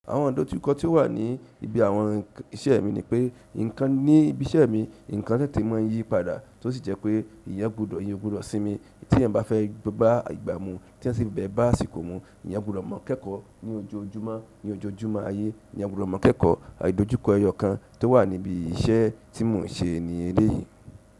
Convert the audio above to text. Àwọn idojuko ti ó wà ní ibi àwọn iṣẹ́ mi ni pé, nǹkan ní ibi iṣẹ́ mi, nǹkan tètè mọ yí padà tó sì jẹ́ pé eeyan gbọdọ̀, eeyẹn o gbọdọ̀ sínmi tí ẹ̀eyan bá fẹ́ bà ìgbà mú tí ẹeyan sì fe bá àsìkò mú, eeyan gbọdọ̀ maa k'ekọ̀ ní ojoojúmọ́, ní ojoojúmọ́ ayé, eeyan gbọdọ̀ maa k'ẹ́kọ̀, ìdojúkọ ẹyọ kan tó wà níbi iṣẹ́ tí mò ń ṣe ní eléyìí.